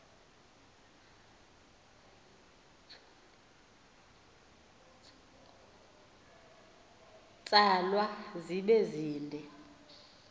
tsalwa zibe zide